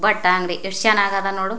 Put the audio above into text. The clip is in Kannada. ಭಟ್ಟಾ ಅಂಗಡಿ ಎಷ್ಟ ಚನ್ನಾಗದ ನೋಡು --